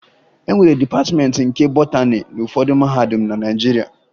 E nwere Dịpatịmeentị nke Botani n'ụfọdụ mahadum na Naịjirịa